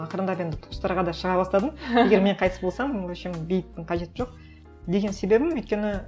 ақырындап енді туыстарға да шыға бастадым егер мен қайтыс болсам в общем бейіттің қажеті жоқ деген себебім өйткені